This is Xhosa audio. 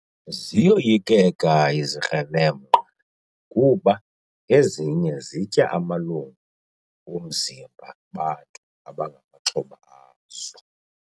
Ziyoyikeka izikrelemnqa kuba ezinye zitya amalungu omzimba bantu abangamaxhoba azo.